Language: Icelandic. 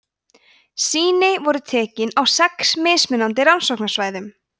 sýni voru tekin á sex mismunandi rannsóknarsvæðum